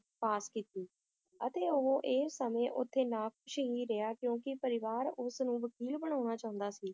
ਪਾਸ ਕੀਤੀ ਅਤੇ ਉਹ ਇਹ ਸਮੇ ਓਥੇ ਨਾਖੁਸ਼ ਹੀ ਰਿਹਾ ਕਿਉਂਕਿ ਪਰਿਵਾਰ ਉਸਨੂੰ ਵਕੀਲ ਬਣਾਉਣਾ ਚਾਉਂਦਾ ਸੀ l